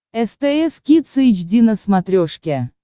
стс кидс эйч ди на смотрешке